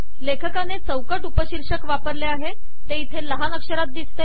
लेखकाने चौकट उपशीर्षक वापरले आहे ते इथे लहान अक्षरात दिसते